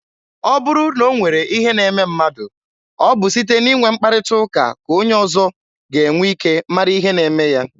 Ọ bụrụ na o nwere ihe na-eme mmadụ, ọ bụ site n'inwe mkparịta ụka ka onye ọzọ ga-enwe ike mara ihe na-eme ya.